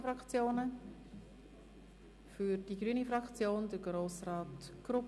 – Für die grüne Fraktion spricht Grossrat Grupp.